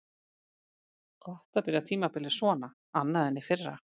Gott að byrja tímabilið svona annað en í fyrra.